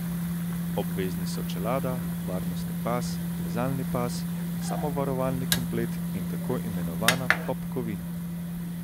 Obvezni so čelada, varnostni pas, plezalni pas, samovarovalni komplet in tako imenovana popkovina.